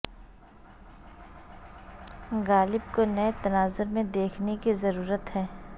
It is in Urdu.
غالب کو نئے تناظر میں دیکھنے کی ضرورت ہے